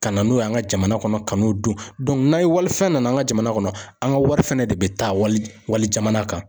Ka na n'o ye an ka jamana kɔnɔ kan'o dun na walifɛn nana an ka jamana kɔnɔ an ka wari fana de bɛ taa wali wali jamana kan.